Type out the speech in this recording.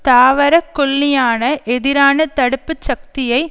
தாவரக்கொல்லியான எதிரான தடுப்பு சக்தியை